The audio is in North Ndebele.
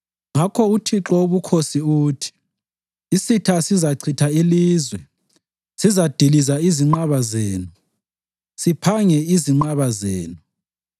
Ngakho uThixo Wobukhosi uthi: “Isitha sizachitha ilizwe; sizadiliza izinqaba zenu, siphange izinqaba zenu.”